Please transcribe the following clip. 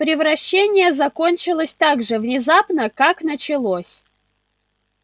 превращение закончилось так же внезапно как началось